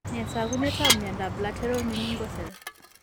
Nee taakunetaab myondap Lateral meningocele?